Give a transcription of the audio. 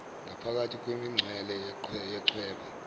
ngaphakathi kwemincele yechweba